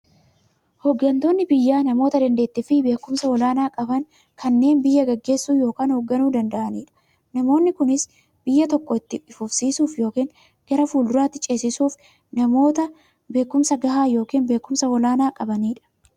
Hooggantoonni biyyaa namoota daanteettiifi beekumsa olaanaa qaban, kanneen biyya gaggeessuu yookiin hoogganuu danda'aniidha. Namoonni kunis, biyya tokko itti fufsiisuuf yookiin gara fuulduraatti ceesisuuf, namoota beekumsa gahaa yookiin beekumsa olaanaa qabaniidha.